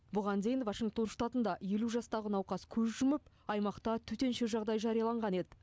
бұған дейін вашингтон штатында елу жастағы науқас көз жұмып аймақта төтенше жағдай жарияланған еді